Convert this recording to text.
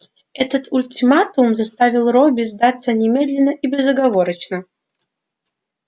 этот ультиматум заставил робби сдаться немедленно и безоговорочно